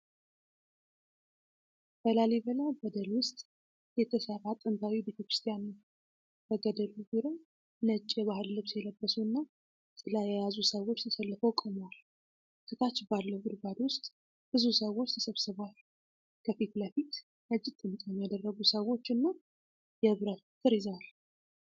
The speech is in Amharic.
በላሊበላ ገደል ውስጥ የተሠራ ጥንታዊ ቤተክርስቲያን ነው። በገደሉ ዙሪያ ነጭ የባህል ልብስ የለበሱና ጥላ የያዙ ሰዎች ተሰልፈው ቆመዋል። ከታች ባለው ጉድጓድ ውስጥ ብዙ ሰዎች ተሰብስበዋል፤ ከፊት ለፊት ነጭ ጥምጣም ያደረጉ ሰዎች እና የብረት በትር ይዘዋል።